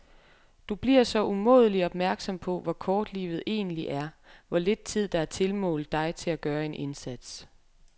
Du bliver så umådelig opmærksom på, hvor kort livet egentlig er, hvor lidt tid der er tilmålt dig til at gøre en indsats.